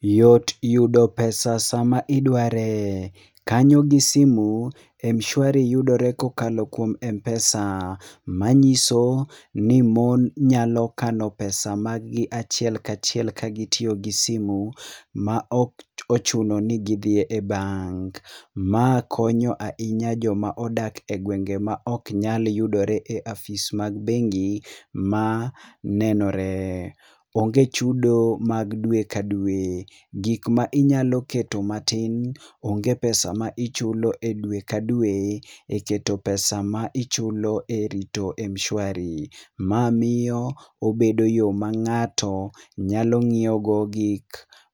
Yot yudo pesa sama idware, kanyo gi simu, Mshwari yudore kokalo kuom Mpesa manyiso ni mon nyalo kano pesa mag gi achiel kachiel kokalo gi simu maok ochuno ni gidhi e bank. Ma konyo ahinya joma odak e gwenge maok nyal yudore e afis mar bengi ma nenore. Onge chudo ma dwe ka dwe. Gikma inyalo keto matin, onge pesa ma ichulo e dwe ka dwe e keto pesa ma ichulo e rito Mshwari. Ma miyo obedo yoo ma ngato nyalo ngiew go gik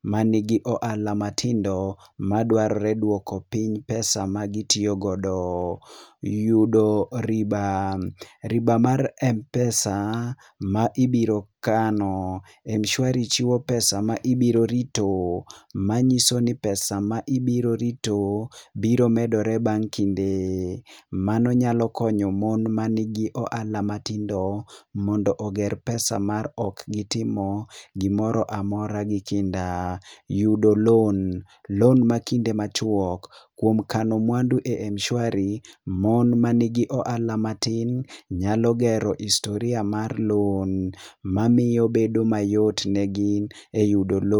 manigi ohala matindo madwarore duoko piny pesa[cs ma gitiyo godo. Yudo riba, riba mar Mpesa ma ibiro kano, Mshwari kano pesa ma ibiro rito manyiso ni pesa ma ibiro rito biro medore bang kinde, mano nyalo konyo mon manigi ohala matindo mondo oger pesa mar ok gitimo gimoro amora gi kinda. Yudo loan, loan makinde machuok kuom kano mwandu e Mshwari, mon manigi ohala matin nyalo gero historia mar loan mamiyo bedo mayot ne gi e yudo loan